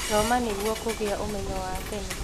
Thoma nĩguo kũgĩa ũmenyo wa tene.